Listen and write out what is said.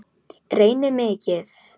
Reyni mikið.